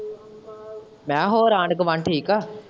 ਮੈਂ ਕਿਹਾ ਹੋਰ ਆਂਢ-ਗੁਆਂਢ ਠੀਕ ਏ।